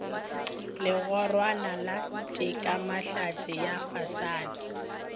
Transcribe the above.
legorwana la tekamahlatse ya fasana